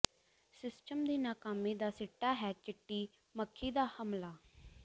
system ਦੀ ਨਾਕਾਮੀ ਦਾ ਸਿੱਟਾ ਹੈ ਚਿੱਟੀ ਮੱਖੀ ਦਾ ਹਮਲਾ